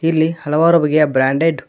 ಇಲ್ಲಿ ಹಲವಾರು ಬಗೆಯ ಬ್ರಾಂಡೆಡ್ --